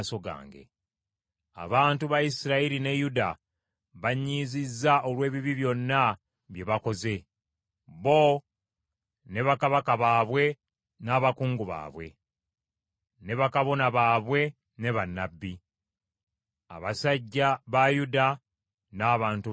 Abantu ba Isirayiri ne Yuda bannyiizizza olw’ebibi byonna bye bakoze, bo ne bakabaka baabwe n’abakungu baabwe, ne bakabona baabwe ne bannabbi, abasajja ba Yuda n’abantu ba Yerusaalemi.